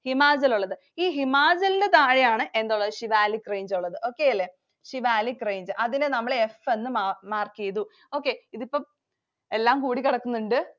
ഹിമാചലൊള്ളത്. ഈ ഹിമാചലിന്‍റെ താഴെയാണ് എന്തൊള്ളത്? സിവാലിക് range ഒള്ളത്. Okay അല്ലേ. സിവാലിക് range അതിനു നമ്മള്‍ F എന്ന് mark ചെയ്തു. Okay, ഇതിപ്പം എല്ലാം കൂടി കിടക്കുന്നുണ്ട്.